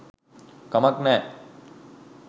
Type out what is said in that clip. කමක් නෑ